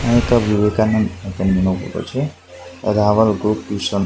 આ એક વિવેકાનંદ નો ફોટો છે રાવલ ગ્રુપ ટ્યુશન --